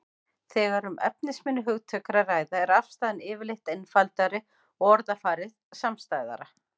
Þegar um efnisminni hugtök er að ræða er afstaðan yfirleitt einfaldari og orðafarið samstæðara.